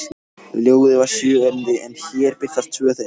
Ljóðið var sjö erindi en hér birtast tvö þeirra